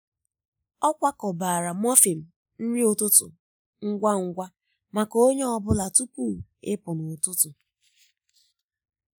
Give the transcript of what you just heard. ọ kwakọbara muffin nri ụtụtụ ngwa ngwa maka onye ọ bụla tupu ịpụ n’ụtụtụ.